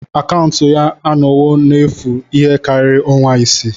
Akaụntụ ya anọwo n'efu ihe karịrị ọnwa isii.